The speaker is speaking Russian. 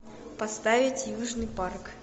поставить южный парк